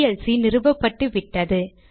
VLC நிறுவப்பட்டுவிட்டது